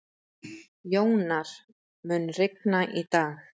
Jónar, mun rigna í dag?